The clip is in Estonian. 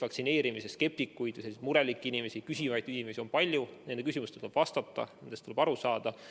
Vaktsineerimise skeptikuid, selliseid murelikke ja küsivaid inimesi on palju ja nende küsimustele tuleb vastata, neist tuleb aru saada.